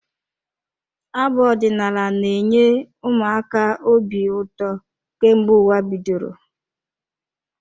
Abụ ọdinaala na-enye ụmụ aka obi ụtọ kemgbe ụwa bidoro.